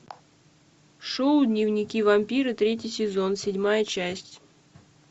шоу дневники вампира третий сезон седьмая часть